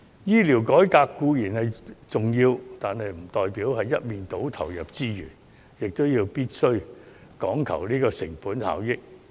醫療改革固然重要，但不代表我們要一面倒投入資源，不講求成本效益。